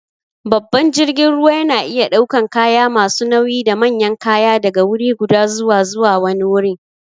Babban jirgin ruwa yana iya ɗaukan kaya masu nauyi da manyan kaya daga wuriguda zuwa zuwa wani wurin.